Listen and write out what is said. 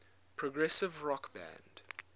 progressive rock band